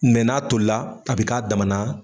n'a tolila a be k'a damana